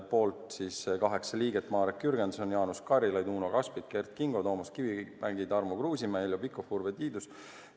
Poolt oli kaheksa liiget: Marek Jürgenson, Jaanus Karilaid, Uno Kaskpeit, Kert Kingo, Toomas Kivimägi, Tarmo Kruusimäe, Heljo Pikhof ja Urve Tiidus.